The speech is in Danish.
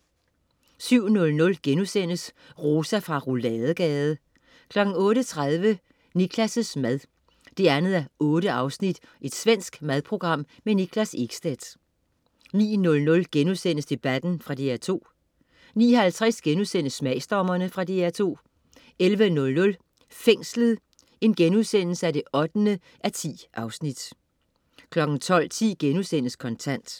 07.00 Rosa fra Rouladegade* 08.30 Niklas' mad 2:8. Svensk madprogram. Niklas Ekstedt 09.00 Debatten.* Fra DR2 09.50 Smagsdommerne.* Fra DR2 11.00 Fængslet 8:10* 12.10 Kontant*